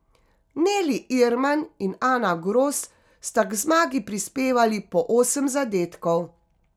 Neli Irman in Ana Gros sta k zmagi prispevali po osem zadetkov.